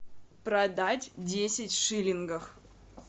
продать десять шиллингов